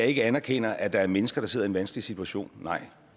ikke anerkender at der er mennesker der sidder i en vanskelig situation nej